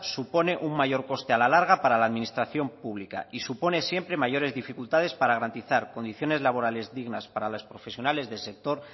supone un mayor coste a la larga para la administración pública y supone siempre mayores dificultades para garantizar condiciones laborales dignas para los profesionales del sector